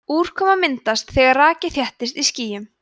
úrkoma myndast þegar raki þéttist í skýjum